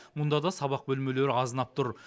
мұнда да сабақ бөлмелері азынап тұр